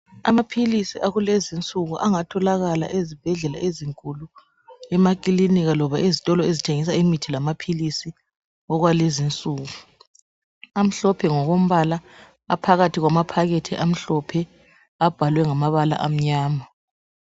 Amaphilisi akulezi insuku angatholakala ezibhedlela ezinkulu, emakilinika loba ezitolo ezithengisa imithi lamaphilisi okwalezi insuku, amhlophe ngokombala aphakathi kwamaphakathi amahlophe abhalwe ngamabala amnyama.